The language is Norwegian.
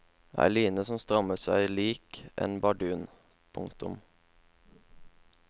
Ei line som strammet seg lik en bardun. punktum